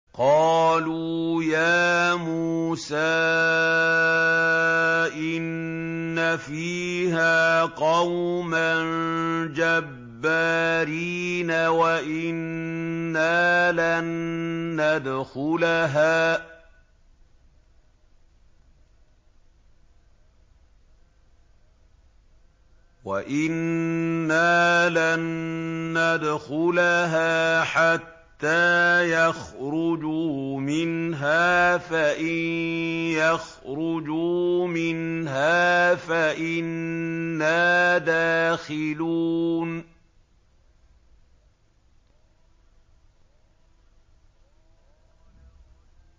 قَالُوا يَا مُوسَىٰ إِنَّ فِيهَا قَوْمًا جَبَّارِينَ وَإِنَّا لَن نَّدْخُلَهَا حَتَّىٰ يَخْرُجُوا مِنْهَا فَإِن يَخْرُجُوا مِنْهَا فَإِنَّا دَاخِلُونَ